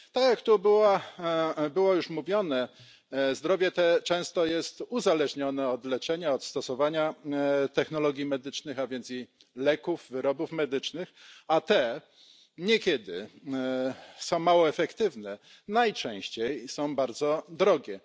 Tak, jak było to już mówione, zdrowie często jest uzależnione od leczenia, od stosowania technologii medycznych, a więc i leków, wyrobów medycznych, a te niekiedy są mało efektywne. Najczęściej są bardzo drogie.